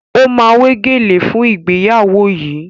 O ma wé gèlè fún ìgbéyàwó yìí